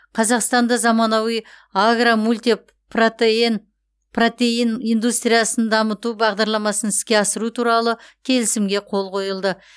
қазақстанда заманауи агро мультипротеин индустриясын дамыту бағдарламасын іске асыру туралы келісімге қол қойылды